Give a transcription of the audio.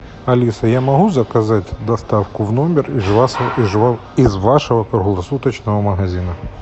алиса я могу заказать доставку в номер из вашего круглосуточного магазина